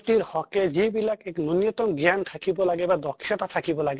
তিৰ হʼকে যিবিলাক এক ন্য়ুন্য়্তম জ্ঞান থাকিব লাগে বা দক্ষ্য়্তা থাকিব লাগে